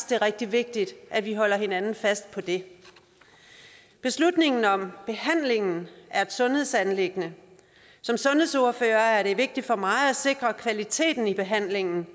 det er rigtig vigtigt at vi holder hinanden fast på det beslutningen om behandlingen er et sundhedsanliggende som sundhedsordfører er det vigtigt for mig at sikre kvaliteten i behandlingen